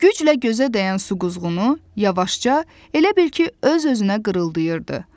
Güclə gözə dəyən su quzğunu yavaşca, elə bil ki, öz-özünə qırıldayırdı.